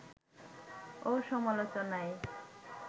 ও সমালোচনায়